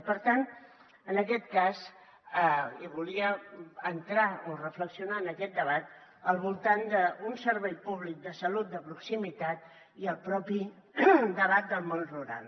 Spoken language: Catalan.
i per tant en aquest cas hi volia entrar o reflexionar en aquest debat al voltant d’un servei públic de salut de proximitat i el propi debat del món rural